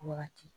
Wagati